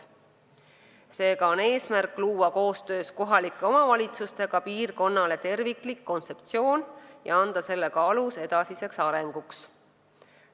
Seega on eesmärk koostöös kohalike omavalitsustega luua terviklik piirkonna kontseptsioon ja anda sellega alus edasiseks arenguks.